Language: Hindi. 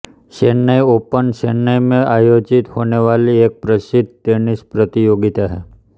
चेन्नई ओपन चेन्नई में आयोजित होने वाली एक प्रसिद्ध टेनिस प्रतियोगिता है